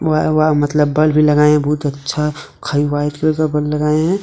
By बाई मतलब bulb भी लगाए हुए हैं बहुत अच्छा खरे व्हाइट कलर का बल्ब भी लगाए हैं।